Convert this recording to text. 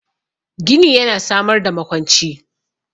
Gini yana samar da makwanci